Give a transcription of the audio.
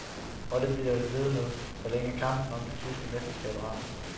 Og det bliver det ved med, sålænge kampen om det tyske mesterskab raser.